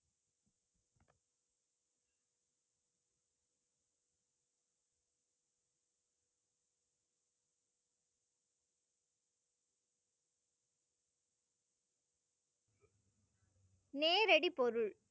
நேரடிப் பொருள்.